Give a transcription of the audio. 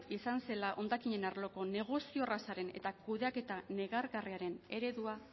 izan zela hondakinen arloko negozio errazaren eta kudeaketa negargarriaren eredua